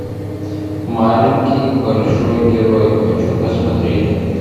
маленький большой герой хочу посмотреть